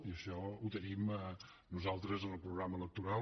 i això ho tenim nosaltres en el programa electoral